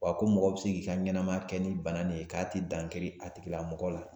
Wa ko mɔgɔ bɛ se k'i ka ɲɛnamaya kɛ ni bana nin ye k'a tɛ dan kari a tigi lamɔgɔ la.